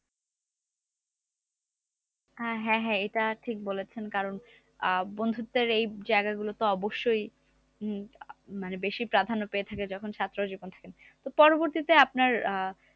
আহ হ্যা হ্যা এটা ঠিক বলেছেন কারণ আহ বন্ধুত্বের এই জায়গা গুলি তো অবশ্যই উম মানে বেশি প্রাধান্য পেয়ে থাকে যখন ছাত্র জীবনে থাকে পরবর্তীতে আপনার আহ